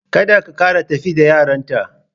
Kada ka kara tafi da yarinyata!